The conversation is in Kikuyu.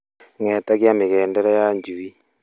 Ng'etagia mĩgendere ya njui